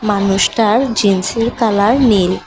মানুষটার জিন্সের কালার নীল।